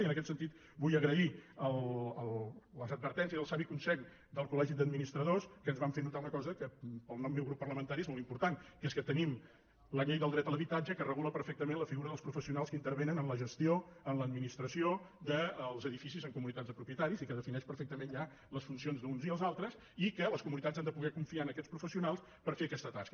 i en aquest sentit vull agrair les advertències el savi consell del col·legi d’administradors que ens van fer notar una cosa que pel meu grup parlamentari és molt important que és que tenim la llei de dret a l’habitatge que regula perfectament la figura dels professionals que intervenen en la gestió en l’administració dels edificis en comunitats de propietaris i que defineix perfectament ja les funcions d’uns i els altres i que les comunitats han de poder confiar en aquests professionals per fer aquesta tasca